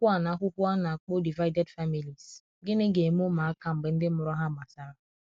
akwukwo ana akwukwo ana akpo divided families - gini ga eme ụmụ aka mgbe ndi mụrụ ha gbasara